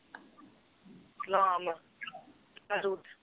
ਸਲਾਮ hello